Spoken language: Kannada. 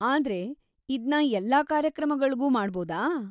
ಆದ್ರೆ ಇದ್ನ ಎಲ್ಲಾ ಕಾರ್ಯಕ್ರಮಗಳ್ಗೂ ಮಾಡ್ಬೌದಾ?